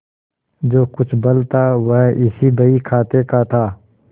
जो कुछ बल था वह इसी बहीखाते का था